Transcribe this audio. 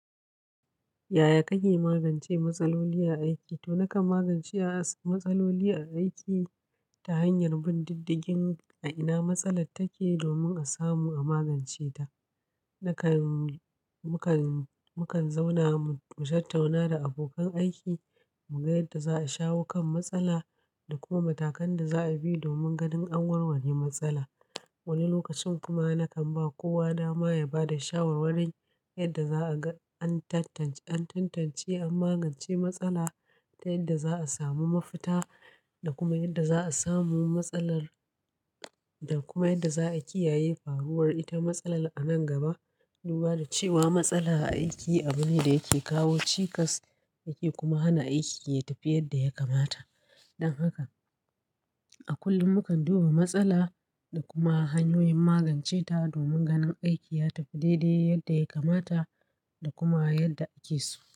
Yaya kake magance matsaloli a aiki? To, nakan magance a matsaloli a aiki ta hanyar bin diddigin a ina matsalar take domin a samu a magance ta. Nakan, mukan, mukan zauna mu mu tattauna da abokan aiki mu ga yadda za a shawo kan matsala da kuma matakan da za a bi domin ganin an warware matsala. Wani lokacin kuma nakan ba kowa dama ya bada shawarwari yadda za a ga an tantance, an tantance an magance matsala ta yadda za a samu mafita da kuma yadda za a samu matsalar da kuma yadda za a kiyaye faruwar ita. Matsalar a nan gaba. Duba da cewa matsala a aiki abu ne da yake kawo cikas yake kuma hana aiki ya tafi yadda ya kamata. Dan haka a kullum mukan duba matsala da kuma hanyoyin magance ta domin ganin aiki ya tafi daidai yadda ya kamata da kuma yadda ake so.